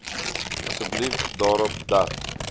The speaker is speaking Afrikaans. asseblief daarop dat